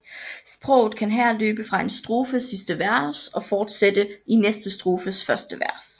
Sproget kan her løbe fra en strofes sidste vers og forsætte i næste strofes første vers